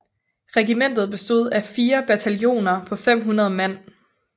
Regimentet bestod af 4 bataljoner på 500 mand